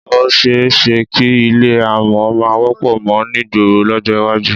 Ó s̩e é s̩e kí ilé àmò̩ má wó̩pò̩ mo̩ nígboro ló̩jó̩ iwájú